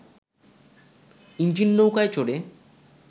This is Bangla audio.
ইঞ্জিন নৌকায় চড়ে